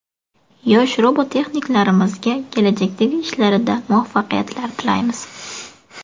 Yosh robototexniklarimizga kelajakdagi ishlarida muvaffaqiyatlar tilaymiz!